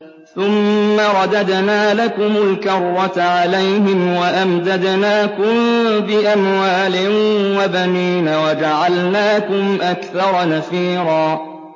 ثُمَّ رَدَدْنَا لَكُمُ الْكَرَّةَ عَلَيْهِمْ وَأَمْدَدْنَاكُم بِأَمْوَالٍ وَبَنِينَ وَجَعَلْنَاكُمْ أَكْثَرَ نَفِيرًا